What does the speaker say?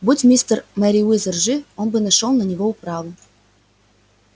будь мистер мерриуэзер жив он бы нашёл на него управу